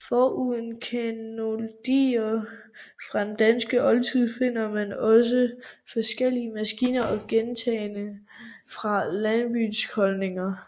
Foruden klenodier fra den danske oldtid finder man også forskellige maskiner og genstande fra landbohusholdninger